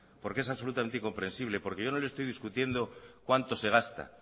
porque es absolutamente incomprensible porque yo no lo estoy discutiendo cuánto se gasta